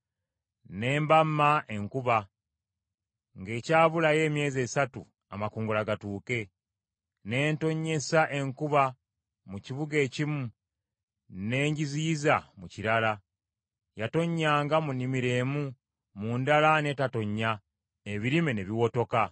“Ne mbamma enkuba ng’ekyabulayo emyezi esatu amakungula gatuuke. Ne ntonnyesa enkuba mu kibuga ekimu ne ngiziyiza mu kirala. Yatonnyanga mu nnimiro emu, mu ndala n’etatonnya, ebirime ne biwotoka.